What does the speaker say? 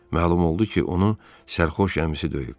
Məlum oldu ki, onu sərxoş əmisi döyüb.